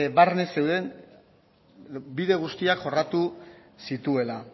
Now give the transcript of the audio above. barne zeuden bide guztiak jorratu zituela